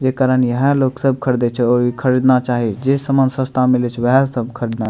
जे कारण ईहा लोग सब खरीदे छै ऊहा खरीदना चाही जे समान सस्ता मिले छै उहे सब खरीदने --